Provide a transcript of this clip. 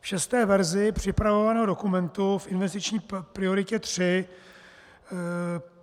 V šesté verzi připravovaného dokumentu v investiční prioritě tři,